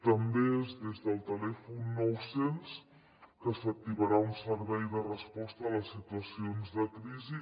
també és des del telèfon nou cents que s’activarà un servei de resposta a les situacions de crisi